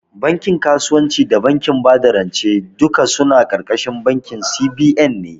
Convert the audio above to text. Bankin kasuwanci da bankin bada rance duk suna ƙarƙashin bankin C.B.N ne